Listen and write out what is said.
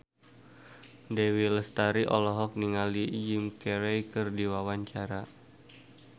Dewi Lestari olohok ningali Jim Carey keur diwawancara